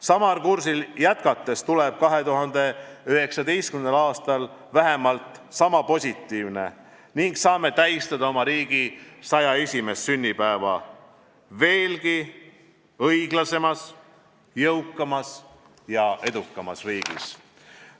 Samal kursil jätkates tuleb 2019. aasta vähemalt sama positiivne ning saame tähistada oma riigi 101. sünnipäeva veelgi õiglasemas, jõukamas ja edukamas riigis.